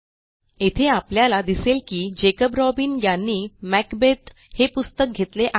येथे आपल्याला दिसेल की जॅकॉब रॉबिन यांनी मॅकबेथ हे पुस्तक घेतले आहे